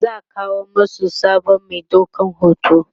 za'a kawo masu sabon Mai ɗaukan hoto